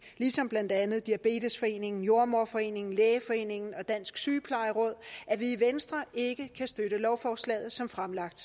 ligesom blandt andet diabetesforeningen jordemoderforeningen lægeforeningen og dansk sygeplejeråd at vi i venstre ikke kan støtte lovforslaget som fremlagt